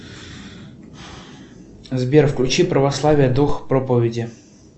сбер включи православие дух проповеди